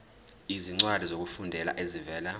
izincwadi zokufunda ezivela